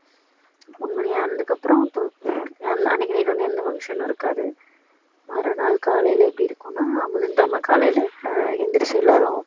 மூணு மணி ஆனதுக்கு அப்பறோம் அன்னைக்கு night வந்து எந்த function னும் இருக்காது மறுநாள் காலையில எப்படி இருக்கும்னா புதன் கிழமை காலையில எழுந்திருச்சி எல்லாரும்